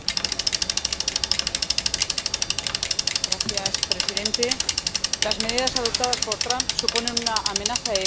Señor presidente, las medidas adoptadas por Trump suponen una amenaza económica para todo el mundo y un retroceso democrático.